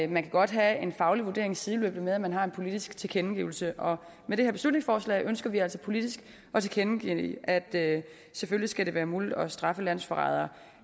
man kan godt have en faglig vurdering sideløbende med at man har en politisk tilkendegivelse og med det her beslutningsforslag ønsker vi altså politisk at tilkendegive at det selvfølgelig skal være muligt at straffe landsforrædere